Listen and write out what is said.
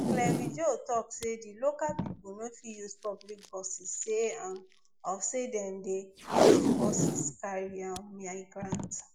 clavijo tok say di local pipo no fit use public buses say um of say dem dey use di buses carry um miyagrants